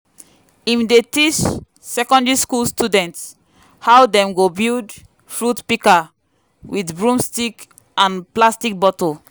him dey teach secondary school students how dem go build fruit pika with broomstick and plastic bottle.